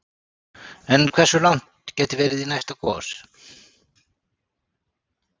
En hversu langt gæti verið í næsta gos?